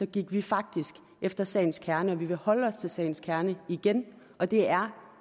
gik vi faktisk efter sagens kerne og vi vil holde os til sagens kerne igen og det er